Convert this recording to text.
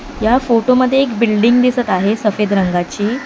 या फोटो मध्ये एक बिल्डिंग दिसत आहे सफेद रंगाची.